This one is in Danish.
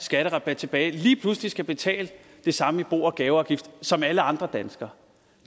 skatterabat tilbage lige pludselig skal betale det samme i bo og gaveafgift som alle andre danskere